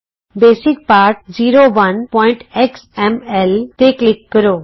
basic ਪਾਠ 01ਐਕਸ M L basic lesson 01ਐਕਸਐਮਐਲਤੇਂ ਕਲਿਕ ਕਰੋ